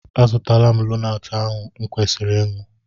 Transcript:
Azụtala m lonaatị ahụ o kwesịrị ịṅụ.